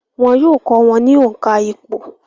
Wọn yóò kọ́ wọn ní òǹkà ìpò